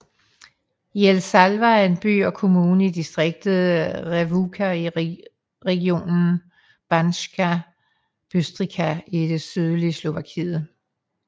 Jelšava er en by og kommune i distriktet Revúca i regionen Banská Bystrica i det sydlige Slovakiet